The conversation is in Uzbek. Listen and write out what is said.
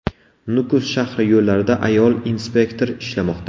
Nukus shahri yo‘llarida ayol inspektor ishlamoqda.